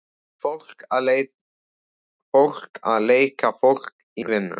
Fólk að leika fólk í vinnu.